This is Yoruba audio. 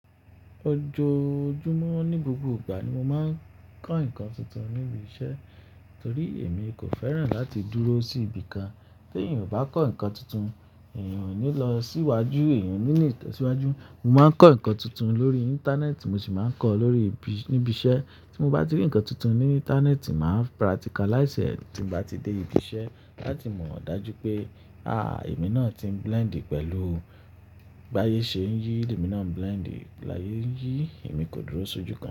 Ojoojumọ nigbogboigba ni mo máa ń kọ́ nǹkan tuntun níbi iṣẹ́ torí èmi kò fẹ́ràn láti dúró sí ibi kan. Tí èèyàn ò bá kọ́ nǹkan tuntun, èèyàn ò ní lọ síwájú, èèyàn ò ní le tẹ̀síwájú. Mo máa ń kọ́ nǹkan tuntun lórí Íńtánẹ́ẹ̀tì, mo sì máa ń kọ́ lórí ibi- níbi iṣẹ́. Tí mo bá ti rí nǹkan tuntun ní Íńtánẹ́ẹ̀tì, màá practicalize ẹ̀ tí mo bá ti dé ibi iṣẹ́ láti mọ̀ dájú pé, àáà, èmi náà ti ń blend pẹ̀lú. Bí ayé ṣe ń yí, èmi náà ń blend. Bí ayé ń yí, èmi kò dúró sójú kan.